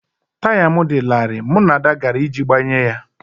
Taya m dị larịị, mụ na Ada gara iji gbanye ya